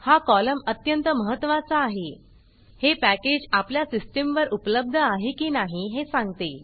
हा कॉलम अत्यंत महत्वाचा आहे हे पॅकेज आपल्या सिस्टमवर उपलब्ध आहे की नाही हे सांगते